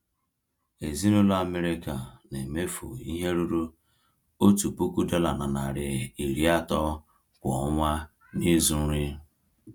Ezinụlọ Amerịka na-emefu ihe ruru $1,300 kwa ọnwa n’ịzụ nri.